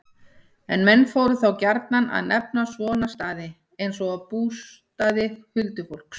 En menn fóru þá gjarnan að nefna svona staði, eins og bústaði huldufólks.